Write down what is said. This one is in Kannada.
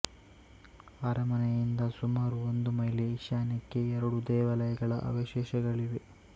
ಅರಮನೆಯಿಂದ ಸುಮಾರು ಒಂದು ಮೈಲಿ ಈಶಾನ್ಯಕ್ಕೆ ಎರಡು ದೇವಾಲಯಗಳ ಅವಶೇಷಗಳಿವೆ